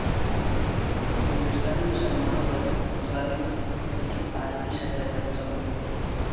ہندوستانی مسلمانوں پر مظالم کی عالمی سطح پر مذمت